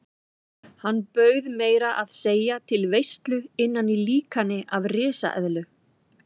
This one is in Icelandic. Hann bauð meira að segja til veislu innan í líkani af risaeðlu.